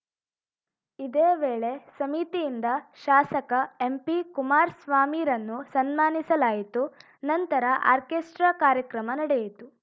ಇದೇ ವೇಳೆ ಸಮಿತಿಯಿಂದ ಶಾಸಕ ಎಂಪಿಕುಮಾರ್ಸ್ವಾಮಿರನ್ನು ಸನ್ಮಾನಿಸಲಾಯಿತು ನಂತರ ಆರ್ಕೇಸ್ಟ್ರಾ ಕಾರ್ಯಕ್ರಮ ನಡೆಯಿತು